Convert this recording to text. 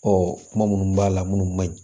kuma minnu b'a la minnu ma ɲi